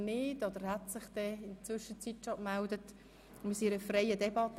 Wir führen eine freie Debatte.